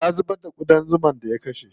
Ya zubar da ƙudan zuman da ya kashe.